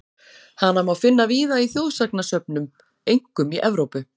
Hana má finna víða í þjóðsagnasöfnum, einkum í Evrópu.